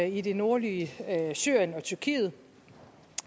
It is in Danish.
i det nordlige syrien og tyrkiet